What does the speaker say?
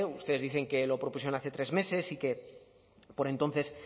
ustedes dicen que lo propusieron hace tres meses y que por entonces